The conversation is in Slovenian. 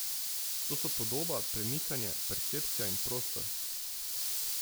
To so podoba, premikanje, percepcija in prostor.